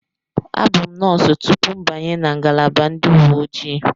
Abụ m nọọsụ tupu m abanye na ngalaba ndị uwe ojii.